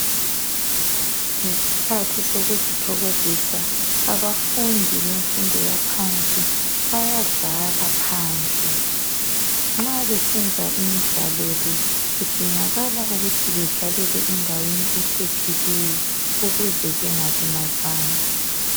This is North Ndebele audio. ngesikhathi sokuzithokozisa abafundi befundo engaphansi bayadlala phandle nxabesenza imidlalo le kudingakala ukuthi bedlalele endaweni ephephileyo ukuze bengalimazani.